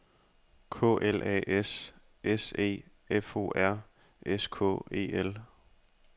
K L A S S E F O R S K E L